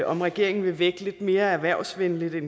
om regeringen vil vægte det erhvervsvenlige lidt